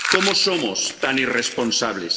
¿Cómo somos tan irresponsables?